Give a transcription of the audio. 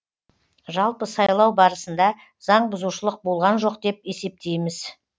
жалпы сайлау барысында заңбұзушылық болған жоқ деп есептейміз